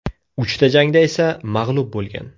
Uchta jangda esa mag‘lub bo‘lgan.